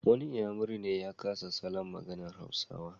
Wani inyamuri ya kasa salon maganar Hausawa.